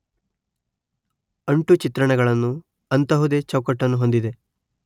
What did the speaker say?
ಅಂಟು ಚಿತ್ರಣಗಳನ್ನು ಅಂತಹುದೇ ಚೌಕಟ್ಟನ್ನು ಹೊಂದಿದೆ